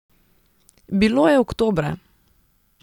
Bilo je oktobra.